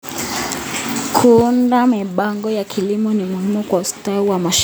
Kuunda mipango ya kilimo ni muhimu kwa ustawi wa mashamba.